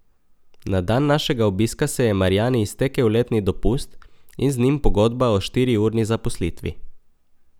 Na dan našega obiska se je Marjani iztekel letni dopust in z njim pogodba o štiriurni zaposlitvi.